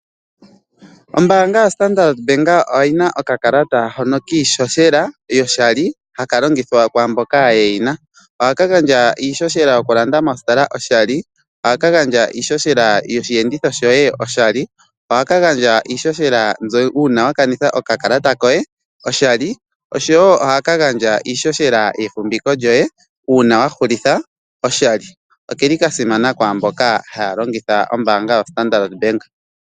Ombaanga yoStarndart Bank oyina okakalata hono kiishoshela yoshali hakalongithwa kwaamboka ye yina, oha kagandja iishoshela yokulanda mostola koshali oha kagandja iishoshela yoshiyenditho shoye oshali oha kagandja iishoshela uuna wakanitha okakalata koye oshali osho wo oha kagandja iishoshela yefumviko lyoye uuna wahulitha oshali oke li kasimana kwaamboka hayalongitha ombaana yoStarndart Bank.